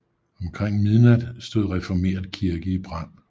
Omkring midnat stod Reformert Kirke i brand